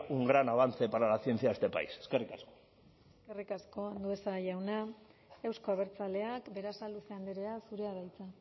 un gran avance para la ciencia de este país eskerrik asko eskerrik asko andueza jauna euzko abertzaleak berasaluze andrea zurea da hitza